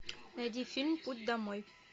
найди фильм путь домой